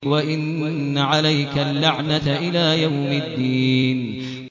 وَإِنَّ عَلَيْكَ اللَّعْنَةَ إِلَىٰ يَوْمِ الدِّينِ